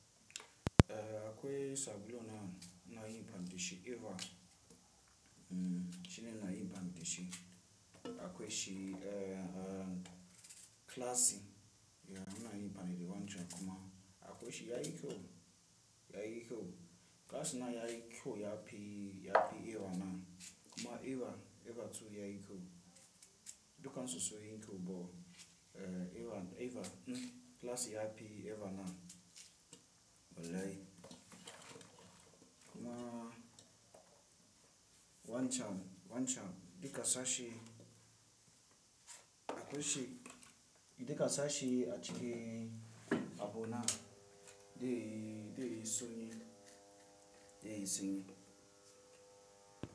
Eh akwe sablu na, na yi ban dishi iwa mhm shine na yi ban dishi. Akwe shi eh, eh classic ya na yi bane wancan kuma akwai shi ya iko, ya iko. Klasi na ya iko ya pi, ya pi iwa na kuma iwa, iwa tu ya kyau. Dukan sun yi kyau bo eh iwa, iwa mhm klasi ya pi iwa na bolai. Kuma wanchan, wanchan dikka sashe akwe shi, dikka sashe a chike a bo na de, de soni, de soni.